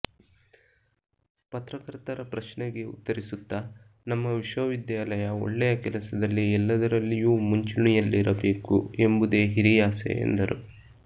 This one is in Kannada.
ಪತ್ರಕರ್ತರ ಪ್ರಶ್ನೆಗೆ ಉತ್ತರಿಸುತ್ತ ನಮ್ಮ ವಿಶ್ವವಿದ್ಯಾಲಯ ಒಳ್ಳೆಯ ಕೆಲಸದಲ್ಲಿ ಎಲ್ಲದರಲ್ಲಿಯೂ ಮುಂಚೂಣಿಯಲ್ಲಿರಬೇಕು ಎಂಬುದೇ ಹಿರಿಯಾಸೆ ಎಂದರು